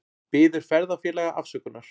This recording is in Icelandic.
Biður ferðafélaga afsökunar